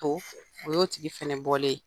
O o y'o tigi fana bɔlen ye.